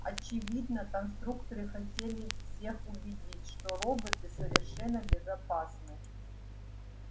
очевидно конструкторы хотели всех убедить что роботы совершенно безопасны